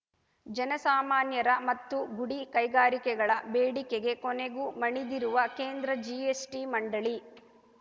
ಜನಸಾಮಾನ್ಯರ ಮತ್ತು ಗುಡಿ ಕೈಗಾರಿಕೆಗಳ ಬೇಡಿಕೆಗೆ ಕೊನೆಗೂ ಮಣಿದಿರುವ ಕೇಂದ್ರ ಜಿಎಸ್‌ಟಿ ಮಂಡಳಿ